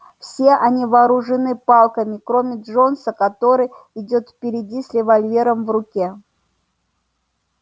все они вооружены палками кроме джонса который идёт впереди с револьвером в руке